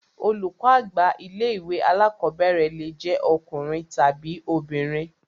Olùkọ́ àgbà ilé ìwé alákọ̀berẹ̀ le jẹ ọkùnrin tàbi obìnrin.